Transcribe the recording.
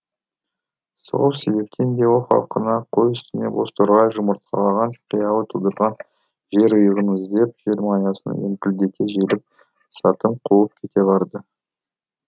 сол себептен де ол халқына қой үстіне боз торғай жұмыртқалаған қиялы тудырған жерұйығын іздеп желмаясын еңкілдете желіп сатым қуып кете барды